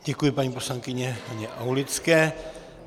Děkuji paní poslankyni Haně Aulické.